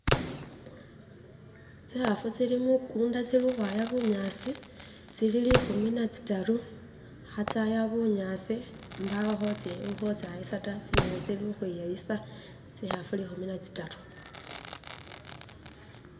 Tsikhafu tsili mukunda tsili ukhwaya bunyasi tsili likhumi na tsitaru ha tsaya bunyasi mbawo khotsa khotsayisa ta tsinyene tsili ukhwiyayisa tsikhafu likhumi natsitaru